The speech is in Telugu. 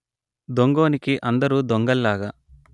దొంగోనికి అందరు దొంగల్లాగా